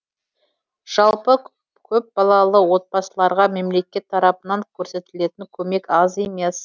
жалпы көпбалалы отбасыларға мемлекет тарапынан көрсетілетін көмек аз емес